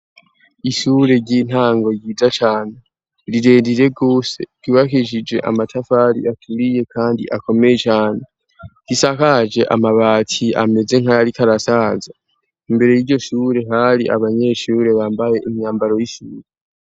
ishure ry'intango yija cyane rireriregose twibahijije amatafari aturiye kandi akomeye cyane yisakaje amabati ameze nkayari karasaza imbere y'iyo sure hari abanyeshure bambaye imyambaro y'isure